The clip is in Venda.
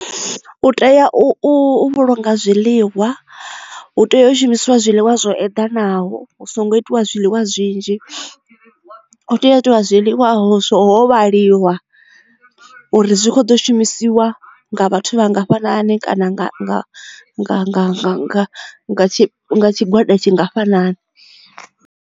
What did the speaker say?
U tea u vhulunga zwiḽiwa hu tea u shumisiwa zwiḽiwa zwo eḓanaho hu songo itiwa zwiḽiwa zwinzhi u tea u itea zwiḽiwa ho zwo vhaliwa uri zwi kho ḓo shumisiwa nga vhathu vhangafhani kana nga tshigwada tshingafhani.